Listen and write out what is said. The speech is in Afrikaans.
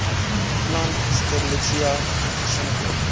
plant strelitzia versinnebeeld